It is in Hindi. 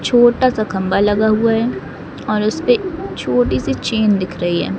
छोटा सा खंभा लगा हुआ है और उस पे छोटी सी चैन दिख रही है।